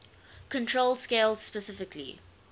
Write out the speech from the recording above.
control scales specifically